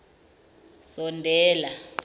sondela